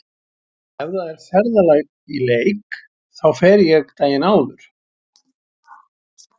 Ef það er ferðalag í leik þá fer ég daginn áður.